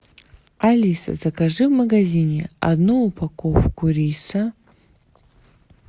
алиса закажи в магазине одну упаковку риса